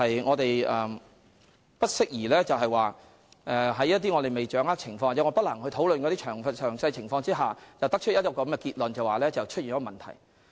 我們不適宜在未掌握情況或不能詳細討論情況時作出結論，認為存在問題。